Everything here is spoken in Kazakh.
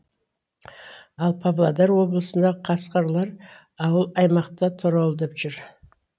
ал павлодар облысында қасқырлар ауыл аймақты торуылдап жүр